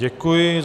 Děkuji.